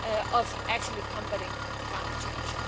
of actually combating climate change.